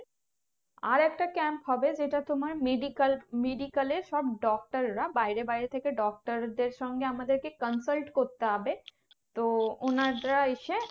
আর একটা camp হবে যেটা তোমার medical medical এর সব doctor রা বাইরে বাইরে থেকে doctor দেড় সঙ্গে আমাদেরকে consult করতে হবে তো ওনারা এসে